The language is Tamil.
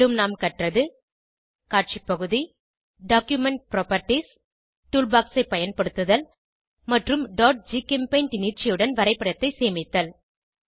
மேலும் நாம் கற்ற்து காட்சி பகுதி டாக்குமென்ட் புராப்பர்ட்டீஸ் ஆவணத்தின் பண்புகள் டூல் பாக்ஸ் ஐ பயன்படுத்துதல் மற்றும் gchempaint நீட்சியுடன் வரைபடத்தை சேமித்தல்